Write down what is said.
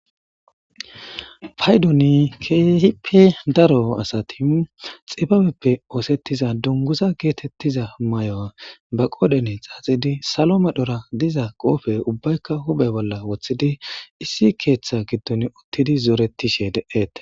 payduni keehippe daro asati xibabeppe oosettiza dunguza geetettiza mayo ba qooden xaaxidi salo me dhora diza qoofe ubbaykka hubhe bolla woththidi issi keeththa giddon uttidi zooretishe de7eete